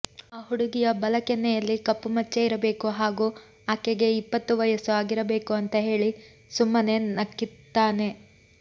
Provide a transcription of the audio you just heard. ಆ ಹುಡುಗಿಯ ಬಲ ಕೆನ್ನೆಯಲ್ಲಿ ಕಪ್ಪು ಮಚ್ಚೆಯಿರಬೇಕು ಹಾಗೂ ಆಕೆಗೆ ಇಪ್ಪತ್ತು ವಯಸ್ಸು ಆಗಿರಬೇಕು ಅಂತ ಹೇಳಿ ಸುಮ್ಮನೆ ನಕ್ಕಿರ್ತಾನೆ